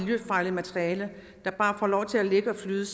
miljøfarligt materiale der bare har fået lov til at ligge og flyde